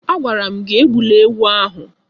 Agwara m gị egbula ewu ahụ!